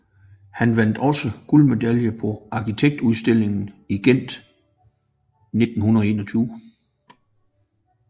Han vandt også guldmedalje på arkitekturudstillingen i Gent 1921